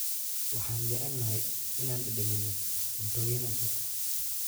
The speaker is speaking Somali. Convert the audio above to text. Waxaan jecelnahay inaan dhadhaminno cuntooyin cusub.